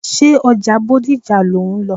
Ṣé ọjà Bódìjà lò ń lọ?